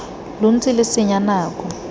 lo ntse lo senya nako